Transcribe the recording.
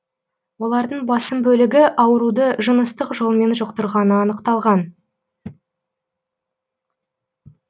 олардың басым бөлігі ауруды жыныстық жолмен жұқтырғаны анықталған